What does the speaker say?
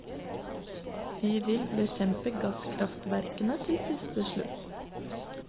Vi vil bekjempe gasskraftverkene til siste slutt.